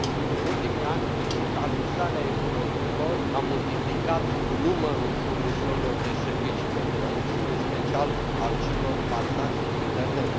În ultimii ani, digitalizarea economiilor a multiplicat numărul furnizorilor de servicii de plăți, în special al celor bazați pe internet.